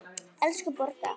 Elsku Borga!